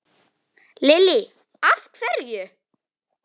Lillý: Af hverju?